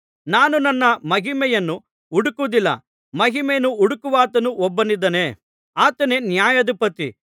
ನಾನು ನನ್ನ ಮಹಿಮೆಯನ್ನು ಹುಡುಕುವುದಿಲ್ಲ ಮಹಿಮೆಯನ್ನು ಹುಡುಕುವಾತನು ಒಬ್ಬನಿದ್ದಾನೆ ಆತನೇ ನ್ಯಾಯಾಧಿಪತಿ